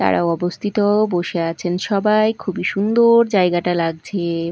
তারা অবস্থিত বসে আছেন সবাই খুবই সুন্দর জায়গাটা লাগছে।